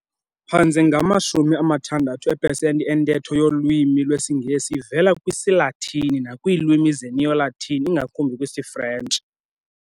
Phantse ngama-60 eepesenti entetho yolwimi lwesiNgesi ivela kwisiLatini nakwiilimi zeNeo-Latin, ingakumbi kwisiFrentshi.